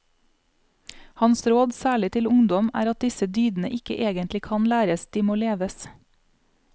Hans råd, særlig til ungdom, er at disse dydene ikke egentlig kan læres, de må leves.